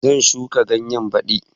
Zan shuka ganye baɗi